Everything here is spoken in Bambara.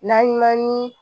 N'an man ni